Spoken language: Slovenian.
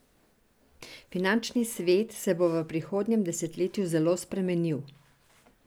Finančni svet se bo v prihodnjem desetletju zelo spremenil.